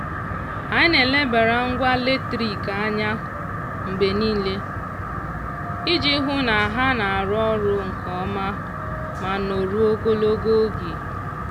anyị na-elebara ngwa latrik anya mgbe niile iji hụ na ha na-arụ ọrụ nke ọma ma nọruo ogologo oge.